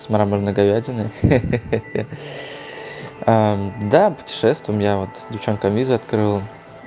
с мраморной говядиной ха-ха да путешествуем я вот девчонкам визы открыл